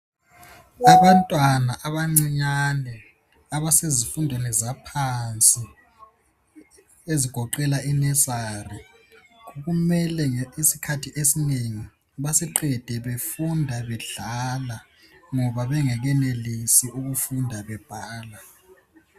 Abantwana abancinyane abasezifundweni zaphansi ezigoqela I nursery. Kumele iskhathi ezinengi basiqede befunda bedlala, ngoba bengekenelisi ukufunda bebhala.